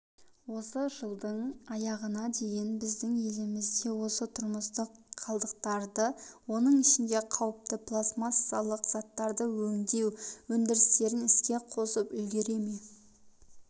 осы жылдың аяғына дейін біздің елімізде осы тұрмыстық қалдықтарды оның ішінде қауіпті пластмассалық заттардың өңдеу өндірістерін іске қосып үлгере ме